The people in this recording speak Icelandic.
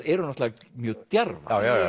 eru náttúrulega mjög djarfar